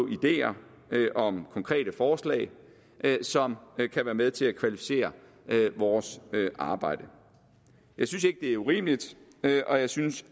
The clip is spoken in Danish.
ideer om konkrete forslag som kan være med til at kvalificere vores arbejde jeg synes ikke det er urimeligt og jeg synes